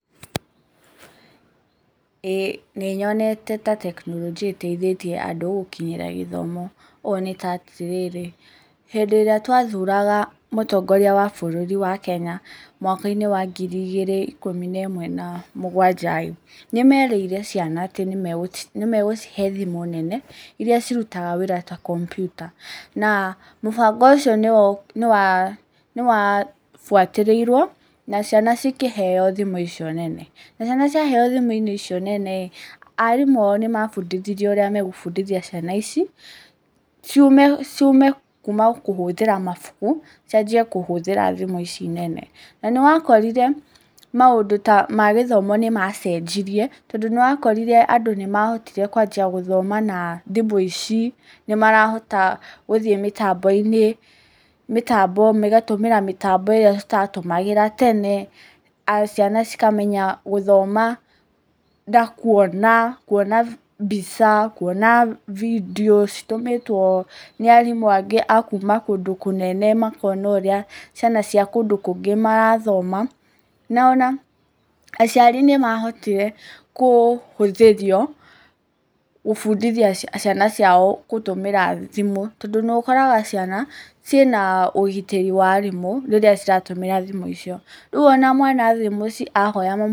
Ĩ nĩnyonete ta tekinoronjia ĩteithĩtie andũ, gũkinyĩra gĩthomo. Ũũ nĩ ta atĩrĩrĩ, hĩndĩ ĩrĩa twathuraga mũtongoria wa bũrũri wa Kenya, mwaka-inĩ wa ngiri igĩrĩ na ikũmi nemwe, na mũgwanja-rĩ, nĩ merĩire ciana nĩ megũcihe thimũ nene, irĩa cirutaga wĩra ta kompiuta. Na mũbango ũcio nĩwa, nĩwabuatĩrĩirwo, na ciana cikiheyo thimũ icio nene. Na ciana cia heyo thimũ icio nene, arimũ ao nĩ mabundithirio ũrĩa megũbundithia ciana ici, ciume kuuma kũhũthĩra mabuku, cianjie kũhũthĩra thimũ ici nene. Na nĩwakorire maũndũ ta magĩthomo nĩ macenjirie, tondũ nĩwakorire andũ nĩ mahotire kwanjia gũthoma na thimũ ici, nĩmarahota gũthiĩ mĩtambo-inĩ, magatũmĩra mĩtambo ĩrĩa tũtatũmagĩra tene, ciana cikamenya gũthoma, na kuona, kuona mbica, kuona bindiũ citũmĩtwo nĩ arimũ angĩ a kuuma kũndũ kũnene, makona ũrĩa ciana cia kũndũ kũngĩ marathoma. Na ona aciari nĩmahotire kũhũthĩrio gũbũndĩthia ciana ciao, gũtũmĩra thimũ. Tondũ nĩ ũkoraga ciana ciĩna ũgitĩri wa arimũ rĩrĩa ciratũmĩra thimũ icio. Rĩu ona mwana athi mũciĩ ahoya mami wao...